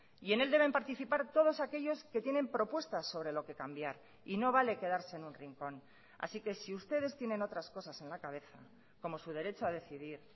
y en él deben participar todos aquellos que tienen propuestas sobre lo que cambiar y no vale quedarse en un rincón así que si ustedes tienen otras cosas en la cabeza como su derecho a decidir